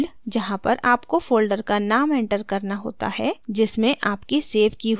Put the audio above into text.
field जहाँ पर आपको folder का name enter करना होता है जिसमें आपकी सेव की हुई फाइल होती है